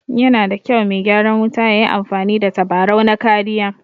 Yana da kyau me gyaran wuta yayi amfani da tabarau na kariya